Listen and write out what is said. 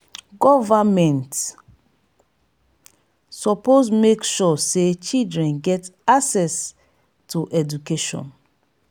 government suppose make sure sey children get access to education.